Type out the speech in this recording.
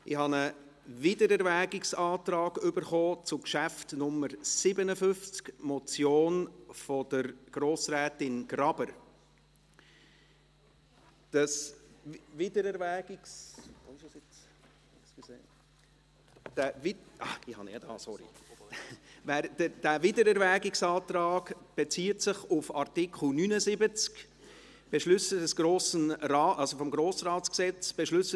Ich habe einen Wiedererwägungsantrag zu Geschäft 57 erhalten, der Motion von Grossrätin Graber Dieser Wiedererwägungsantrag bezieht sich auf Artikel 79 des Gesetzes über den Grossen Rat (Grossratsgesetzes, GRG):